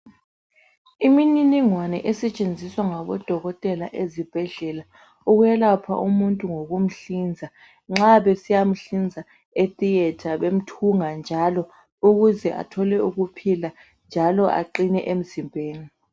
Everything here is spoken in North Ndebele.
Imniningwane esetshenziswa ngabodokotela ezibhedlela ukwelapha umuntu ngokumhlinza nxa besiya mhlinza etheater bemthunga njalo ukuze athole ukuphila njalo aqine emzimbeni.